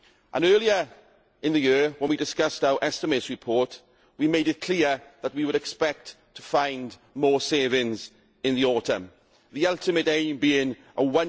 Earlier in the year when we discussed our estimates report we made it clear that we would expect to find more savings in the autumn, the ultimate aim being a